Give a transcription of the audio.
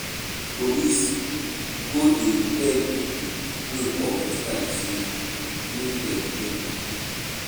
Police go dey tell pipo wey commit crime sey make dem bring moni.